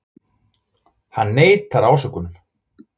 Hann neitar ásökunum